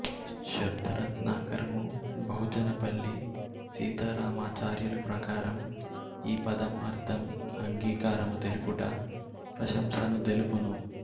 శబ్దరత్నాకరము బహుజనపల్లి సీతారామాచార్యులు ప్రకారం ఈ పదం అర్థం అంగీకారము తెలుపుట ప్రశంసను దెలుపును